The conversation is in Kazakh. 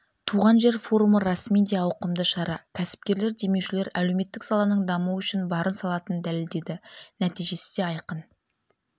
туған жер форумы расымен де ауқымды шара кәсіпкерлер демеушілер әлеуметтік саланың дамуы үшін барын салатынын дәлелдеді нәтижесі де айқын